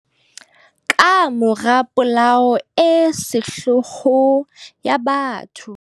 Kamora polao e sehloho ya batho.